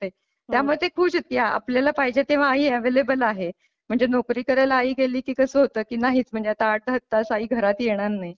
त्यामुळे ते खुश आहेत की आपल्याला पाहिजे तेव्हा आई अॅवेलेबल आहे म्हणजे नोकरी करायला आई गेली की कस होत नाहीत म्हणजे आठ आठ तास आई घरात येणार नाही.